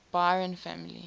byron family